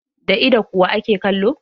Da ido kuwa ake kallo.